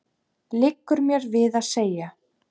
liggur mér við að segja.